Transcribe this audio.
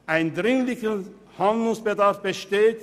Ein dringlicher Handlungsbedarf besteht.